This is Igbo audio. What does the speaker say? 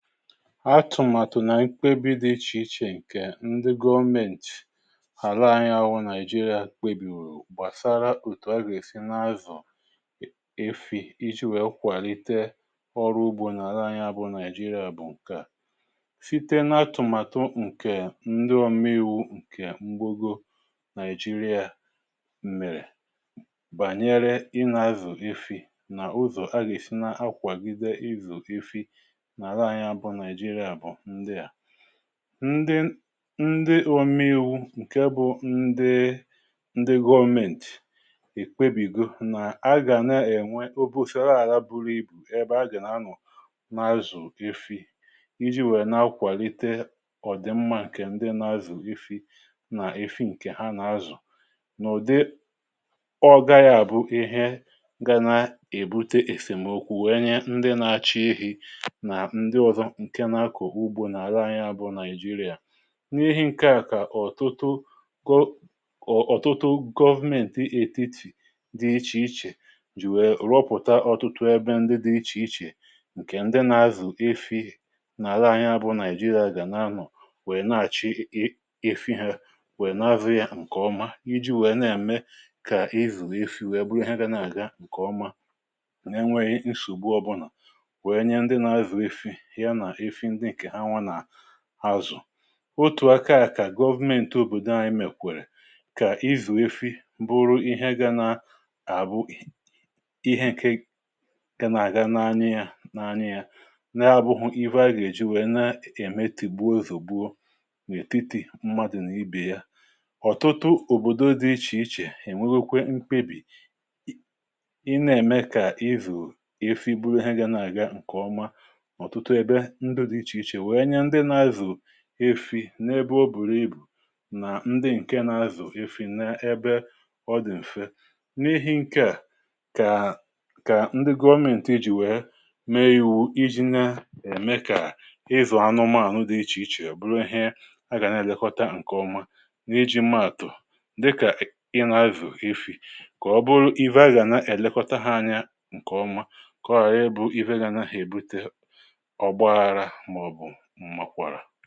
Atụmatụ na nkwekọrịta dị iche iche ndị gọọmenti Naịjirịa kpebiri gbasara otu agịrisi n’azụ efi iji kwalite ọrụ ugbo. Atụmatụ na nkwekọrịta dị iche iche nke ndị gọọmenti ala anyị ahụ, Naijria, kpebiri gbasara otu agịrisi n’azụ efi bu ụzọ a na-eji kwalite ọrụ ugbo na agha anyị bụ Naijiria. Nke a sitere na atụmatụ ndị omeiwu Nigeria kwadoro gbasara ịzụ efi, na ụzọ agịrisi na-akwàgide ịzụ efi, ndị omeiwu bụ ndị gọọmenti kpebiri na: A ga na-enwe obufe ala bụ ebe a ga na-anọ na-azụ efi iji mee ka a kwalite ọdịmma nke ndị na-azụ efi, na efi ndị a na-azụ n’ụdị ogba. Nke a bụ ihe nwere ike ibute esemokwu, nyere ndị na-achọ ehi, na-akọ ugbo, na-ere ahịa, n’ime Naịjirịa. Ọtụtụ gọọmenti etiti dị iche iche ejikwala ya rụpụta ọtụtụ ebe dị iche iche ebe ndị na-azụ efi na-ere ahịa na-anọ, wee na-achị efi ha ma na-azụ ya nke ọma. Iji mee ka ịzụ efi bụrụ ihe a na-eme nke ọma, n’enweghị nsọgbu ọbụla, otu aka ka gọọmenti obodo anyị mekwara ka ịzụ efi bụrụ ihe na-aga nke ọma. Nke a na-enyere aka na: A na-eme atụmatụ ka ịzụ efi ghara ịbụ ihe kpatara esemokwu, gbuo, zogbue, ma ọ bụ kpatara nwetiti n’etiti mmadụ na ibe ya. Ọtụtụ ọtụtụ obodo dị iche iche enwekwala mkpebi ime ka ịzụ efi bụrụ ihe na-aga nke ọma ma na-eme ka efi bụrụ anụ a na-azụ n’ebe dị mfe, n’ihi na nke a bụ ụzọ ndị gọọmenti jiri wee mee omume. Nke a na-eme ka ịzụ anụmanụ dị iche iche bụrụ ihe a na-elekọta nke ọma. Dịka i na-azụ efi, ọ ga-abụ na e nwere ndị na-elekọta ha anya nke ọma, ka ọ ghara ịdị ka ihe ga-ebute iwe, esemokwu, ma ọ bụ mmegharị mmegharị.